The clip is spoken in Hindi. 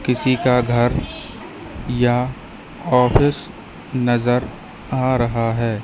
किसी का घर या ऑफिस नजर आ रहा है।